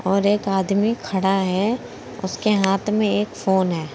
और एक आदमी खड़ा है उसके हाथ में एक फोन है।